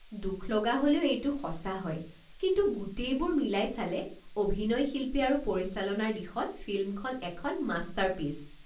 দুখলগা হ'লেও এইটো সঁচা হয়, কিন্তু গোটেইবোৰ মিলাই চালে অভিনয় শিল্পী আৰু পৰিচালনাৰ দিশত ফিল্মখন এখন মাষ্টাৰপিচ।